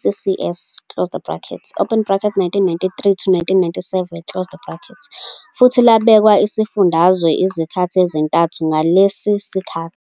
CCS, 1993-1997, futhi labekwa isifundazwe izikhathi ezintathu ngalesi sikhathi.